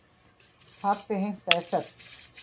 Pabbi heimtaði þögn.